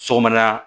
Sɔgɔmada